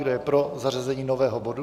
Kdo je pro zařazení nového bodu?